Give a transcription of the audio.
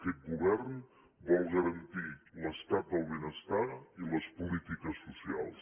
aquest govern vol garantir l’estat del benestar i les polítiques socials